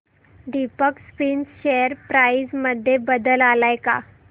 Deepak Spinners share price मध्ये बदल आलाय का